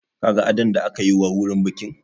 Ka ga adon da aka yi wa wurin bikin?